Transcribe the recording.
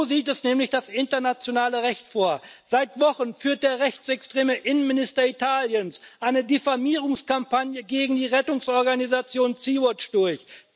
So sieht es nämlich das internationale Recht vor. Seit Wochen führt der rechtsextreme Innenminister Italiens eine Diffamierungskampagne gegen die Rettungsorganisation Sea Watch durch.